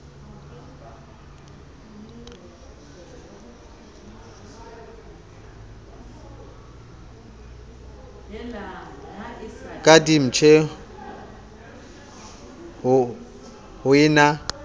ka ditjhipse ho e na